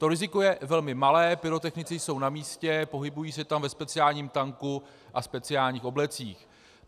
To riziko je velmi malé, pyrotechnici jsou na místě, pohybují se tam ve speciálním tanku a speciálních oblecích.